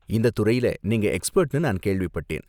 இந்த துறைல நீங்க எக்ஸ்பெர்ட்னு நான் கேள்விப்பட்டேன்.